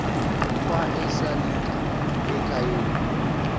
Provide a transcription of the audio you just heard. kwa esalika ekhayeni